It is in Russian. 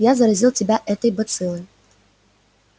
я заразил тебя этой бациллой